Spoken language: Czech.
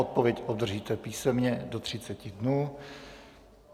Odpověď obdržíte písemně do 30 dnů.